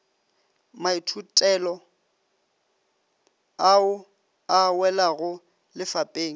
maithutelo ao a welago lefapeng